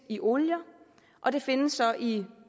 i olier og det findes i